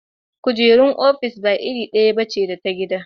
Kujerar ofis ba iri ɗaya ba ce da ta gida.